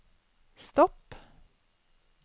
stopp